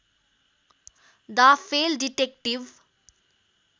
डा Fell detective